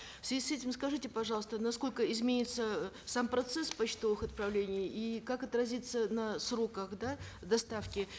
в связи с этим скажите пожалуйста насколько изменится э сам процесс почтовых отправлений и как отразится на сроках да доставки